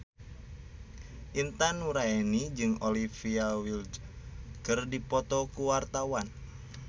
Intan Nuraini jeung Olivia Wilde keur dipoto ku wartawan